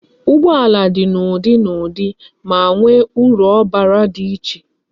Ụgbọala dị n'ụdị na ụdị, ma nwe uru obara di iche